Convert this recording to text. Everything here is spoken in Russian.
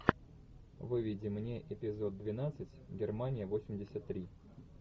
выведи мне эпизод двенадцать германия восемьдесят три